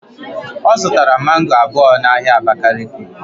Ọ zụtara mango abụọ n'ahịa abakiliki